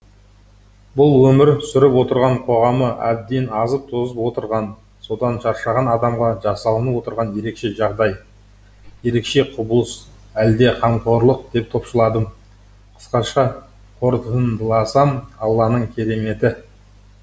бұл өмір сүріп отырған қоғамы әбден азып тозып отырған содан шаршаған адамға жасалынып отырған ерекше жағдай ерекше құбылыс әлде қамқорлық деп топшыладым қысқаша қорытындыласам алланың кереметі